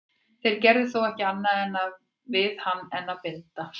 þeir gerðu þó ekki annað við hann en að blinda hann